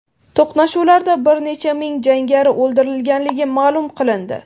To‘qnashuvlarda bir necha ming jangari o‘ldirilganligi ma’lum qilindi.